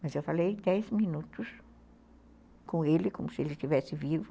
Mas eu falei dez minutos com ele, como se ele estivesse vivo.